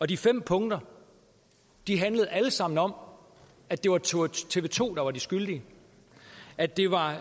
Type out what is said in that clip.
de fem punkter handlede alle sammen om at det var tv to der var de skyldige at det var